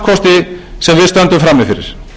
við stöndum frammi fyrir